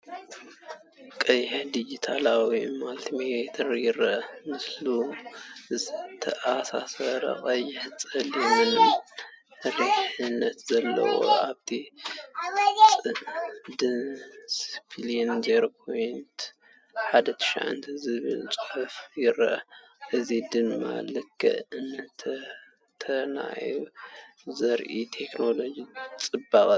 ቀይሕ ዲጂታላዊ ማልቲሜተር ይርአ። ምስኡ ዝተኣሳሰሩ ቀይሕን ጸሊምን መሪሕነት ኣለዎ። ኣብቲ ድስፕሊን “0.19” ዝብል ቁጽሪ ይርአ፣ እዚ ድማ ልክዕነትን ትንተናን ዘርኢ ቴክኖሎጂካዊ ጽባቐ እዩ።